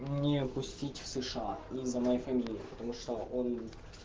не пустить в сша из-за моей фамилии потому что он